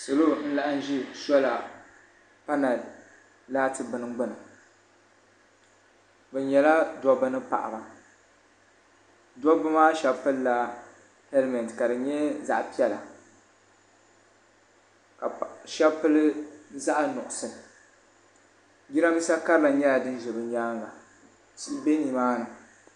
Salo n zaya ŋɔ bi nyɛla gbansabila ka nyɛ paɣaba ni dabba ka bi shɛba nyɛ ban pili zipiliti a maa bi shɛba bi pili bi zipila maa kama nyɛla zaɣa nuɣusu ka shɛŋa nyɛ zaɣa piɛla ka shɛŋa nyɛ zaɣa sabila ka tihi ko n giliba n ti tabili yili kara.